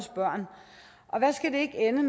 jeg vil